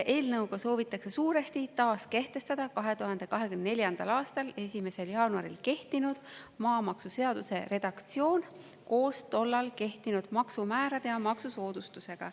Eelnõuga soovitakse suuresti taas kehtestada 2024. aasta 1. jaanuaril kehtinud maamaksuseaduse redaktsioon koos tollal kehtinud maksumäärade ja maksusoodustusega.